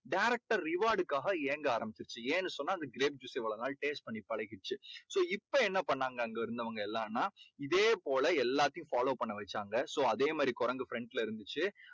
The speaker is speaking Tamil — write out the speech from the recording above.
direct டா reward டுக்காக ஏங்க ஆரம்பிச்சுருச்சு. ஏன்னு சொன்னா அது grape juice சை இவ்வளோ நாள் taste பண்ணி பழகிடுச்சு. so இப்போ என்ன பண்ணாங்க அங்க இருந்தவங்க எல்லான்னா இதே போல எல்லாத்தையும் follow பண்ண வெச்சாங்க. so அதே மாதிரி குரங்கு front ல இருந்துச்சு.